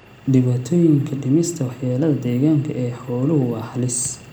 Dhibaatooyinka dhimista waxyeelada deegaanka ee xooluhu waa halis.